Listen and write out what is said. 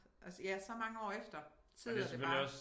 Også ja så mange år efter sidder det bare